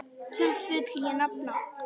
Tvennt vil ég nefna.